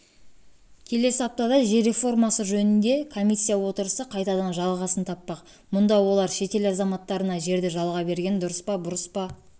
келесі аптада жер реформасы жөніндегі комиссия отырысы қайтадан жалғасын таппақ мұнда олар шетел азаматтарына жерді жалға берген дұрыс па бұрыс па